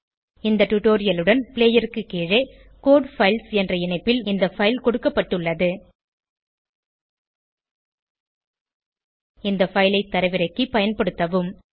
இந்த டுடோரியலுடன் ப்ளேயருக்கு கீழே கோடு பைல்ஸ் என்ற இணைப்பில் இந்த பைல் கொடுக்கப்பட்டுள்ளது இந்த பைல் ஐ தரவிறக்கி பயன்படுத்தவும்